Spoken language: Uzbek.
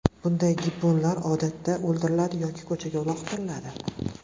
Bunday gibbonlar odatda o‘ldiriladi yoki ko‘chaga uloqtiriladi.